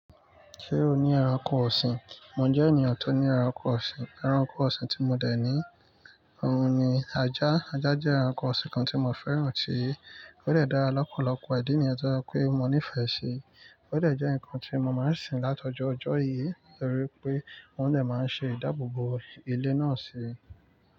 Ṣé o ní ẹranko ọ̀sìn? Mo jẹ́ ènìyàn tó ní ẹranko ọ̀sìn. Ẹranko ọ̀sìn tí mo dẹ̀ ní, òun ni ajá. Ajá jẹ́ ẹranko ọ̀sìn kan tí mo fẹ́ràn tí ó dẹ̀ dára lọ́pọ̀lọpọ̀ ìdí nìyẹn tó jẹ pé mo nífẹ̀ẹ́ ṣí. Ó dẹ̀ jẹ́ ǹkan tí mo máa ń sìn látọ̀jọ́ ọjọ́ yìí torí pé wọn dẹ̀ máa ń ṣe ìdáàbòbò ilé náà si.